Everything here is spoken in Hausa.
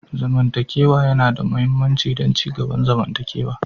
Zamantakewa yana da mahimmanci don ci gaban zamantakewa.